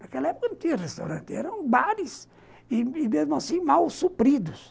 Naquela época não tinha restaurante, eram bares e, mesmo assim, mal supridos.